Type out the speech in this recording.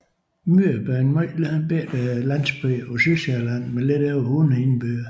Myrup er en meget lille landsby på Sydsjælland med lidt over 100 indbyggere